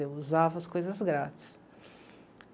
Eu usava as coisas grátis.